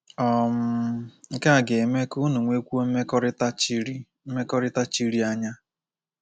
um Nke a ga-eme ka unu nwekwuo mmekọrịta chiri mmekọrịta chiri anya.